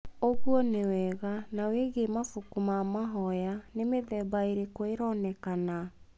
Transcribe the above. ũguo nĩ wega. Na wĩgie mabuku ma mahoya nĩ mĩtemba ĩrĩkũ ĩronekana?